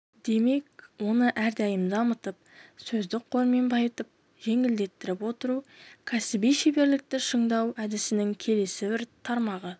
демек оны әрдайым дамытып сөздік қормен байытып жетілдіріп отыру кәсіби шеберлікті шыңдау әдісінің келесі бір тармағы